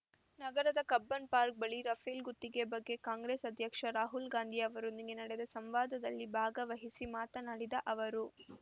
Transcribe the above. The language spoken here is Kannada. ನಗರದ ಕಬ್ಬನ್‌ಪಾರ್ಕ್ ಬಳಿ ರಫೇಲ್‌ ಗುತ್ತಿಗೆ ಬಗ್ಗೆ ಕಾಂಗ್ರೆಸ್‌ ಅಧ್ಯಕ್ಷ ರಾಹುಲ್‌ ಗಾಂಧಿ ಅವರೊಂದಿಗೆ ನಡೆದ ಸಂವಾದದಲ್ಲಿ ಭಾಗವಹಿಸಿ ಮಾತನಾಡಿದ ಅವರು